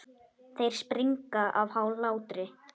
Þeir springa af hlátri.